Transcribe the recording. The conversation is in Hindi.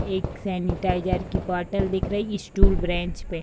एक सैनिटाइजर की बॉटल दिख रही है स्टूल ब्रैंच पे।